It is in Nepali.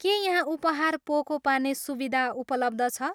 के यहाँ उपहार पोको पार्ने सुविधा उपलब्ध छ?